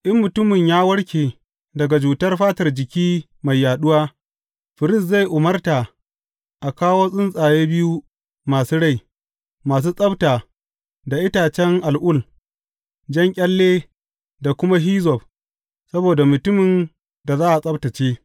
In mutumin ya warke daga cutar fatar jiki mai yaɗuwa, firist zai umarta a kawo tsuntsaye biyu masu rai, masu tsabta da itacen al’ul, jan ƙyalle da kuma hizzob saboda mutumin da za a tsabtacce.